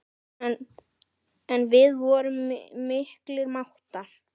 En við vorum miklir mátar.